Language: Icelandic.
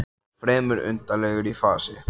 Hann var fremur undarlegur í fasi.